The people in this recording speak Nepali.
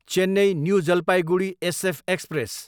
Chennai, new Jalpaiguri SF express